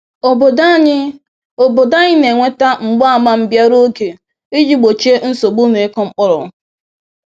Obodo anyị Obodo anyị na-enweta mgbaàmà mbịarụ oge iji gbochie nsogbu n’ịkụ mkpụrụ.